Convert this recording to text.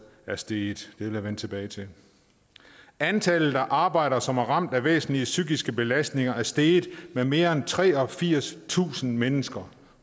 er steget jeg vende tilbage til antallet af arbejdere som er ramt af væsentlige psykiske belastninger er steget med mere end treogfirstusind mennesker